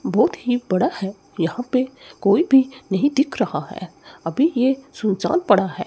बहुत ही बड़ा है यहां पे कोई भी नहीं दिख रहा है अभी ये सुनसान पड़ा है।